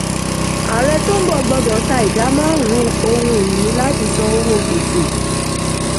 ààrẹ tó ń bọ̀ gbọ́dọ̀ ta ìdá márùn-ún ohun-ìní láti san owó gbèsè.